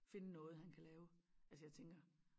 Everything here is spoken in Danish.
Finde noget han kan lave altså jeg tænker